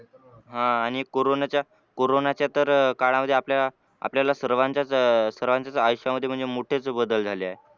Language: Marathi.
आह आणि corona च्या corona च्या तऱ काळामध्ये आपल्या आपल्याला सर्वातचं अं सर्वाचे आयुष्यामध्ये म्हणजे मोठेचं बदल झाले आहेत.